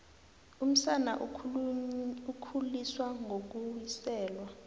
umsana ukhuliswa ngokuwiselwa